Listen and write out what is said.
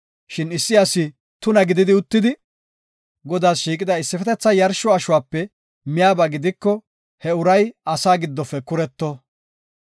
Shin issi asi tuna gidi uttidi, Godaas shiiqida issifetetha yarsho ashuwape miyaba gidiko, he uray asaa giddofe kuretto.